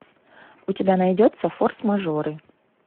у тебя найдется форс мажоры